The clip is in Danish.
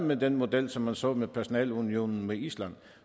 med den model som man så med personalunionen med island